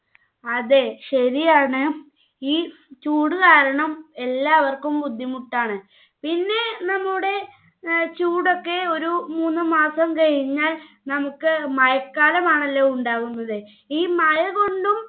അതെ ശെരിയാണ് ഈ ചൂട് കാരണം എല്ലാവര്ക്കും ബുദ്ധിമുട്ടാണ് പിന്നെ നമ്മുടെ ഏർ ചൂടൊക്കെ ഒരു മൂന്ന് മാസം കഴിഞ്ഞാൽ നമ്മുക്ക് മഴക്കാലമാണല്ലോ ഉണ്ടാവുന്നത് ഈ മഴ കൊണ്ടും